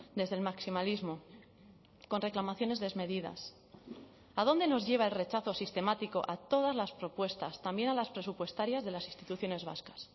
desde el maximalismo con reclamaciones desmedidas a dónde nos lleva el rechazo sistemático a todas las propuestas también a las presupuestarias de las instituciones vascas